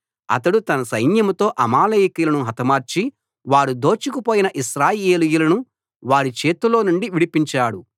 అతడు తన సైన్యంతో అమాలేకీయులను హతమార్చి వారు దోచుకుపోయిన ఇశ్రాయేలీయులను వారి చేతిలో నుండి విడిపించాడు